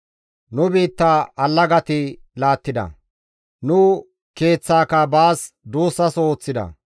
Nu biitta allagati laattida; nu keeththaaka baas duussaso ooththida.